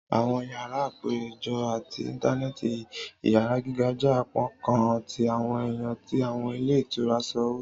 Àwọn yárà apejọ ati intanẹẹti iyara giga jẹ apakan ti awọn ẹya ti awọn ilé ìtura iṣowo